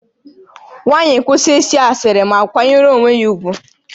Nwaanyị, kwụsị ịsị asịrị ma kwanyere onwe gị ugwu!